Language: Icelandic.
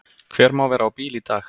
Hver má vera á bíl í dag?